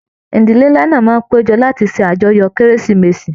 Ìdílé nlá náà máa n pejọ lati ṣe ajọ́yọ kérésìmesì.